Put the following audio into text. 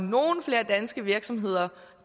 nogle flere danske virksomheder